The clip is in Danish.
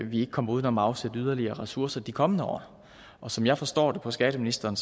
vi ikke kommer uden om at afsætte yderligere ressourcer i de kommende år og som jeg forstår det på skatteministeren